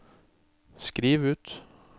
skriv ut